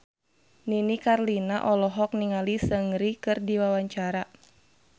Nini Carlina olohok ningali Seungri keur diwawancara